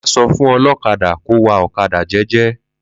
Ma sọ fún olókadà kó wa ọ̀kadà jẹ́ẹ́jẹ́.